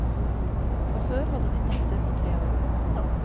Fra før har de en datter på tre år.